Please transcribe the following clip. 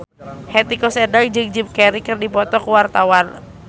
Hetty Koes Endang jeung Jim Carey keur dipoto ku wartawan